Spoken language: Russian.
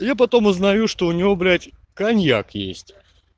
и я потом узнаю что у него блять коньяк есть